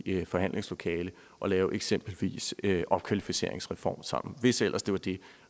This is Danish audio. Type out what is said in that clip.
i et forhandlingslokale og lave eksempelvis opkvalificeringsreform sammen hvis ellers det var det